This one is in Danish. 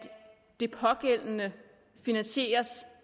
det pågældende finansieres